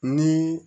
Ni